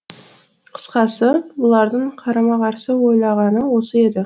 қысқасы бұлардың қарама қарсы ойлағаны осы еді